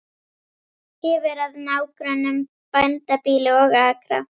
Hefur að nágrönnum bændabýli og akra.